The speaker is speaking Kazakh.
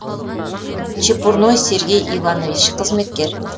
чепурной сергей иванович қызметкер